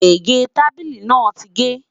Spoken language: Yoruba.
gégé tábìlì nà tí ge